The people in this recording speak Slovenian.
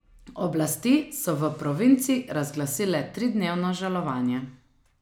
Oblasti so v provinci razglasile tridnevno žalovanje.